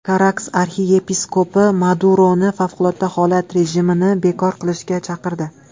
Karakas arxiyepiskopi Maduroni favqulodda holat rejimini bekor qilishga chaqirdi.